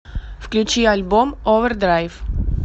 включи альбом овердрайв